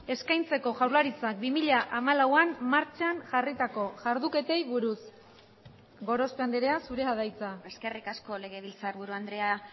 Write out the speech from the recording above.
eskaintzeko jaurlaritzak bi mila hamalauan martxan jarritako jarduketei buruz gorospe andrea zurea da hitza eskerrik asko legebiltzarburu andrea